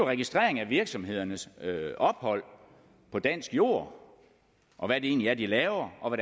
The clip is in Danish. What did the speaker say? registrering af virksomhedernes ophold på dansk jord og hvad det egentlig er de laver og